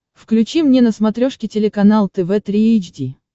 включи мне на смотрешке телеканал тв три эйч ди